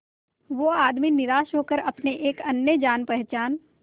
वो आदमी निराश होकर अपने एक अन्य जान पहचान